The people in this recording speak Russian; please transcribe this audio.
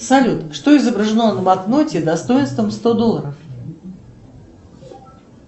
салют что изображено на банкноте достоинством сто долларов